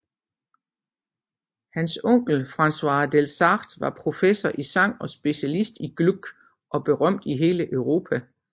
Hans onkel Francois Delsarte var professor i sang og specialist i Gluck og berømt i hele Europa